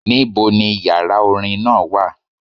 Níbo ni yàrá orin náà wà.?